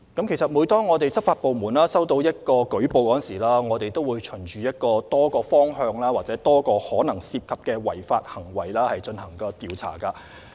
其實，每當執法部門收到舉報，他們會循多個方向或多個可能涉及的違反行為進行調查。